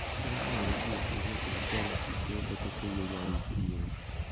Ndiramũũririe kiũria kĩa mbere guku tukĩiyũria rifti ĩyo.